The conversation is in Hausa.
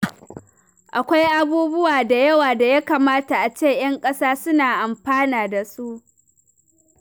Akwai abubuwa da yawa da ya kamata a ce ƴan ƙasa suna amfana da su.